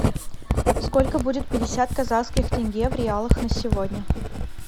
сколько будет пятьдесят казахских тенге в реалах на сегодня